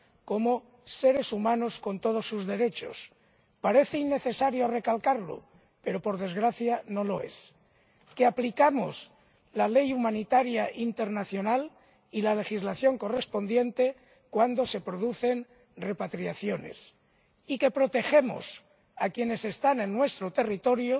como seres humanos, con todos sus derechos —parece innecesario recalcarlo, pero, por desgracia, no lo es—, que aplicamos el Derecho internacional humanitario y la legislación correspondiente cuando se producen repatriaciones y que protegemos a quienes están en nuestro territorio